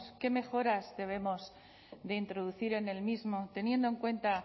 qué mejoras debemos de introducir en el mismo teniendo en cuenta